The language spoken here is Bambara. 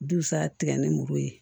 Dusa tigɛ ni muru ye